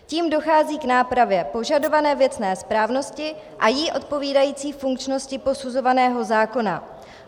Tím dochází k nápravě požadované věcné správnosti a jí odpovídající funkčnosti posuzovaného zákona.